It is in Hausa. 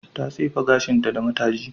Ta tsefe gashinta da mataji.